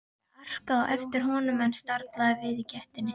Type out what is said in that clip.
Ég arkaði á eftir honum en staldraði við í gættinni.